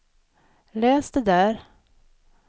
läs det där